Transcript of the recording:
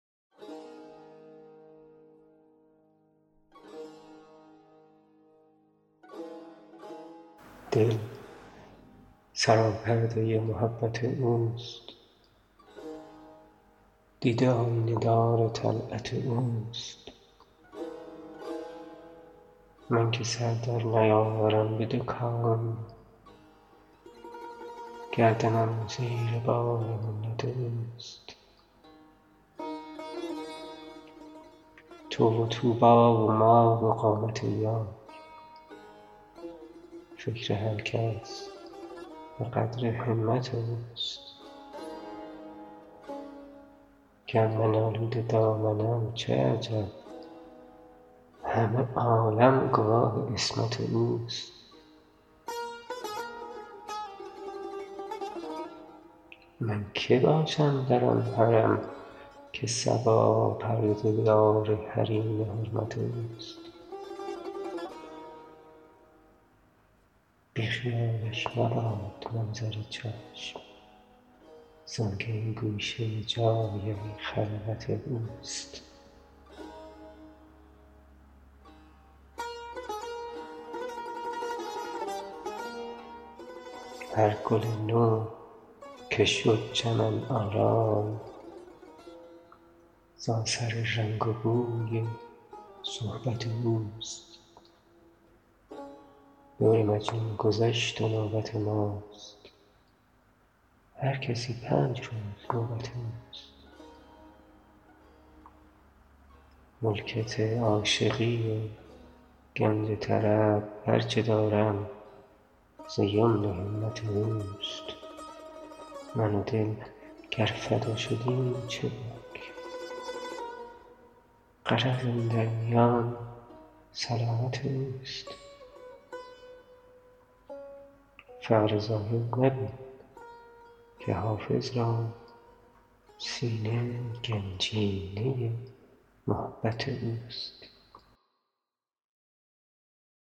دل سراپرده محبت اوست دیده آیینه دار طلعت اوست من که سر در نیاورم به دو کون گردنم زیر بار منت اوست تو و طوبی و ما و قامت یار فکر هر کس به قدر همت اوست گر من آلوده دامنم چه عجب همه عالم گواه عصمت اوست من که باشم در آن حرم که صبا پرده دار حریم حرمت اوست بی خیالش مباد منظر چشم زآن که این گوشه جای خلوت اوست هر گل نو که شد چمن آرای ز اثر رنگ و بوی صحبت اوست دور مجنون گذشت و نوبت ماست هر کسی پنج روز نوبت اوست ملکت عاشقی و گنج طرب هر چه دارم ز یمن همت اوست من و دل گر فدا شدیم چه باک غرض اندر میان سلامت اوست فقر ظاهر مبین که حافظ را سینه گنجینه محبت اوست